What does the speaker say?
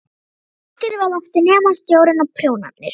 Ekkert varð eftir nema sjórinn og prjónarnir.